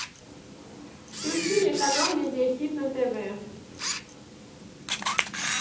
включи мне канал медиа хит на тв